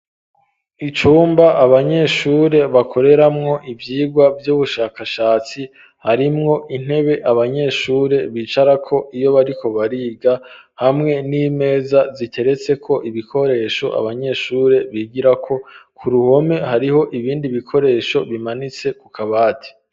Icumba abanyeshure bakoreramwo ivyigwa vy'ubushakashatsi, harimwo intebe abanyeshuri bicarako iyo bariko bariga, hamwe n'imeza ziteretseko ibikoresho abanyeshure bigirako ku ruhome hariho ibindi bikoresho bimanitse ku kabati.